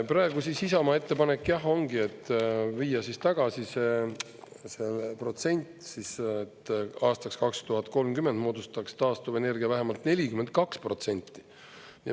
Praegu siis Isamaa ettepanek ongi, et viia tagasi see protsent, et aastaks 2030 moodustaks taastuvenergia vähemalt 42%.